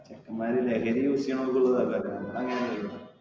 ചെക്കെന്മാര് ലഹരി use ചെയ്യുന്നവർക്ക് ഉള്ളതാണ് നമ്മൾ അങ്ങനെ അല്ലാലോ.